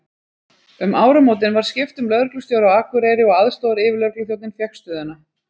Um áramótin var skipt um lögreglustjóra á Akureyri og aðstoðaryfirlögregluþjónninn fékk stöðuna.